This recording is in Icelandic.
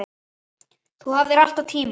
Þú hafðir alltaf tíma.